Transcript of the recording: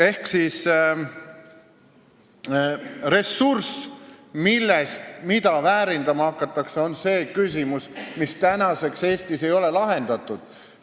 Ehk ressurss, mida väärindama hakatakse, on see küsimus, mis tänaseks ei ole Eestis lahendatud.